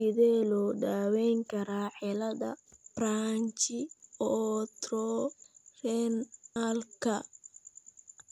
Sidee loo daweyn karaa cilada branchiootorenalka?